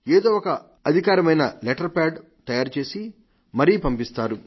ఏదో ఒక అధికారికమైన లెటర్ ప్యాడ్ తయారు చేసి మరీ పంపిస్తారు